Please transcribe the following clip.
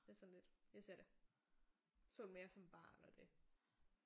Det er sådan lidt jeg ser det. Så det mere som barn og det